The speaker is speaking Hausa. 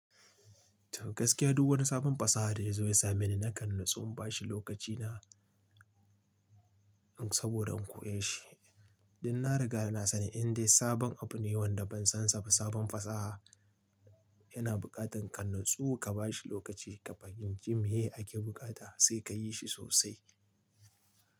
To gaskiya duk wani sabon fasaha da ya zo ya sa mani nakan natsu in ba shi lokacina saboda in koyeshi. Dan na riga na sani indai sabon abu ne wanda ban san sa ba, sabon fasaha yana buƙatar ka natsu, ka ba shi lokaci, kafahimce meye ake bukata sai ka yi shi sosai.